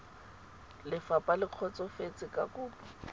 lefapha le kgotsofetse ka kopo